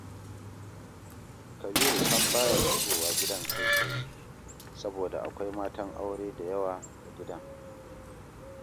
Kabiru sam ba ya shigowa gidan kai tsaye, saboda akwai matan aure da yawa a gidan